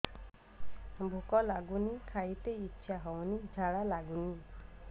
ଭୁକ ଲାଗୁନି ଖାଇତେ ଇଛା ହଉନି ଝାଡ଼ା ଲାଗୁନି